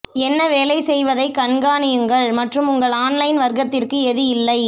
என்ன வேலை செய்வதை கண்காணியுங்கள் மற்றும் உங்கள் ஆன்லைன் வர்த்தகத்திற்கு எது இல்லை